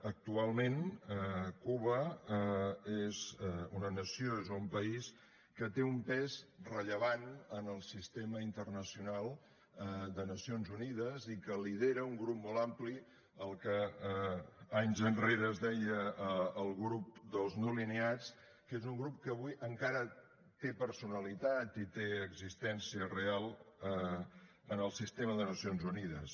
actualment cuba és una nació és un país que té un pes rellevant en el sistema internacional de nacions unides i que lidera un grup molt ampli el que anys enrere es deia el grup dels no alineats que és un grup que avui encara té personalitat i té existència real en el sistema de nacions unides